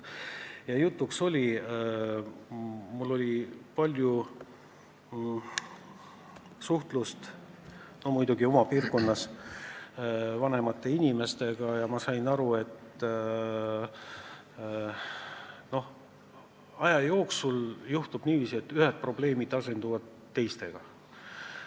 Ma olen oma piirkonnas palju suhelnud vanemate inimestega ja olen aru saanud, et aja jooksul juhtub niiviisi, et ühed probleemid asenduvad teistega.